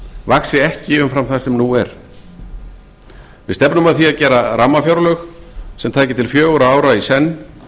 vaxi ekki umfram það sem nú er við stefnum að því að gera rammafjárlög sem taki til fjögurra ára í senn